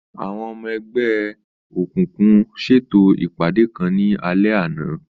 Àwọn ọmọ ẹgbẹ́ ẹgbẹ́ òkùnkùn ṣètò ìpàdé kan ní alẹ́ àná.